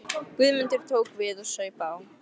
Guðmundur tók við og saup á.